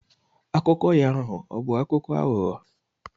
Akụkọ ya ahụ ọbụ akụkọ aghụghọ?